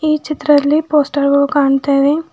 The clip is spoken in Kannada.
ಈ ಚಿತ್ರದಲ್ಲಿ ಪೋಸ್ಟರ್ ಗಳು ಕಾಣ್ತಾವೆ.